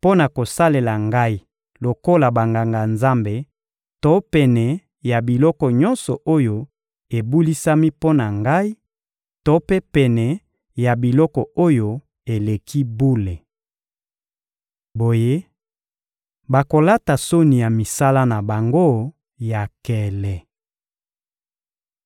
mpo na kosalela Ngai lokola Banganga-Nzambe to pene ya biloko nyonso oyo ebulisami mpo na Ngai to mpe pene ya biloko oyo eleki bule. Boye, bakolata soni ya misala na bango ya nkele.